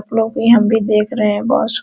आपलोग भी हम भी देख रहे है बहुत --